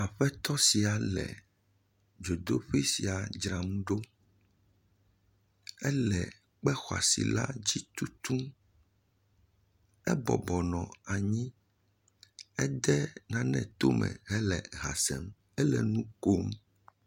Aƒetɔ sia le dzodoƒe sia dzram ɖo. Ele ekpe xɔa si la tutum. Abo nɔ anyi Ede nane tome hele ha sem hele nu kom.